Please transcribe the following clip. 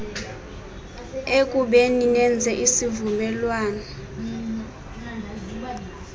ekubeni nenze isivuelwano